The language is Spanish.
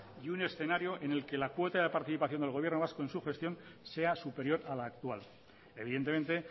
y un escenario en el que la cuota de participación del gobierno vasco en su gestión sea superior a la actual evidentemente